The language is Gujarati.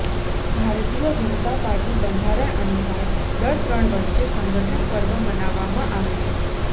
ભારતીય જનતા પાર્ટીના બંધારણ અનુસાર દર ત્રણ વર્ષે સંગઠન પર્વ મનાવવામાં આવે છે